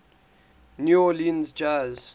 new orleans jazz